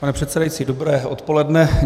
Pane předsedající, dobré odpoledne.